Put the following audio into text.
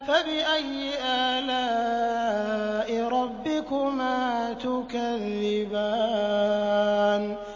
فَبِأَيِّ آلَاءِ رَبِّكُمَا تُكَذِّبَانِ